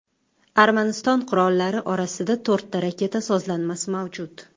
Armaniston qurollari orasida to‘rtta raketa sozlanmasi mavjud.